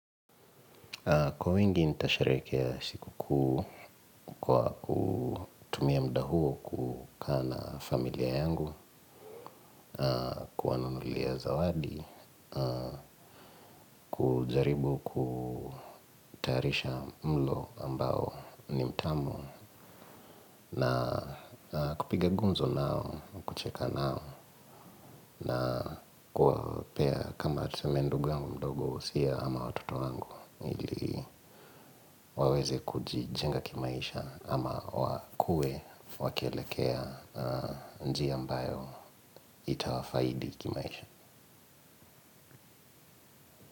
Kwa wingi nitasharehekea siku kuu kwa kutumia muda huo kukaa na familia yangu, kuwanunulia zawadi. Kujaribu kutayarisha mlo ambao ni mtamu na kupiga gunzo nao, kucheka nao. Na kuwapea kama tuseme ndugu yangu mdogo usia ama watoto wangu ili waweze kujijenga kimaisha ama wakue wakielekea njia ambayo itawafaidi kimaisha.